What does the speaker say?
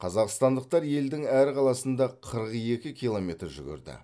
қазақстандықтар елдің әр қаласында қырық екі километр жүгірді